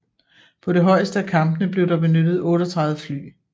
På det højeste af kampene blev der benyttet 38 fly